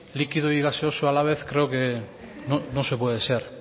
líquido y gaseoso a la vez creo que no se puede ser